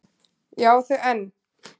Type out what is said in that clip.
Ég á þau enn.